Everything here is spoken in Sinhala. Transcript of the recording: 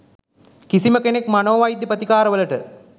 කිසිම කෙනෙක් මනෝවෛද්‍ය ප්‍රතිකාර වලට